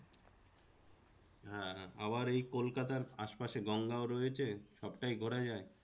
হ্যাঁ আবার এই কলকাতার আশে পাশে গঙ্গাও রয়েছে সবটাই ঘোরা যায়।